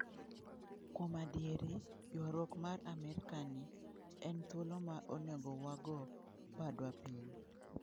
Kuom adieri, ywaruok mar amerkani, en thuolo ma onego wago badwa piny.